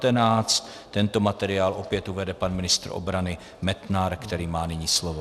Tento materiál opět uveden pan ministr obrany Metnar, který má nyní slovo.